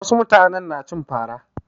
Wasu mutanen na cin fara.